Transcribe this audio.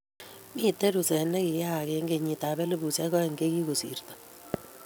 miten ruset negiyayak kenyitab elubushek aek chegigosirto